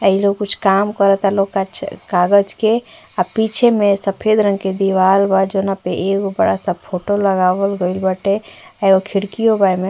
इ लोग काम करता लोग कछ कागज के आ पीछे में सफ़ेद रंग के दीवाल बा जौना पे एगो बड़ा सा फोटो लगावल गइल बाटे एगो खिड़कियो बा एमे।